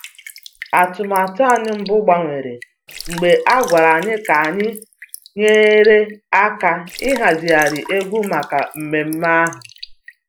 Atụmatụ anyị mbụ gbanwere mgbe a gwara anyị ka anyị nyere aka ịhazigharị egwu maka mmemme ahụ